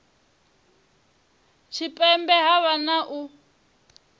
tshipembe ha vha na u